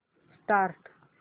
start